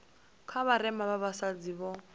vha vharema vha vhasadzi vho